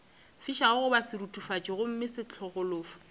fišago goba seruthufatši gomme sefahlogo